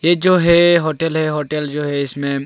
ये जो है होटल है होटल जो है इसमें--